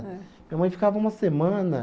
Minha mãe ficava uma semana.